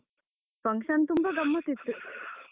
function ತುಂಬ ಗಮ್ಮತ್ ಇತ್ತು.